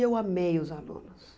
E eu amei os alunos.